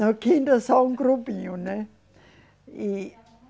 Na quinta só um grupinho, né? E